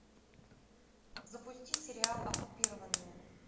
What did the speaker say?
запусти сериал оккупированные